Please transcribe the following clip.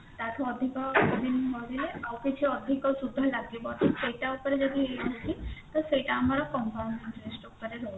ତାଠୁ ଅଧିକ ଦିନ ରହିଲେ ଆହୁରି ଅଧକ ସୁଧ ଲାଗିବ ତ ସେଇଟା ଆଉଥିରେ ଯଦି ଇଏ ହଉଛି ତ ସେଇଟା ଆମର compound interest ଉପରେ ରହୁଛି